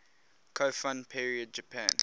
kofun period japan